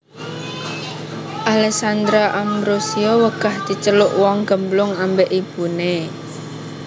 Alessandra Ambrossio wegah diceluk wong gemblung ambek ibune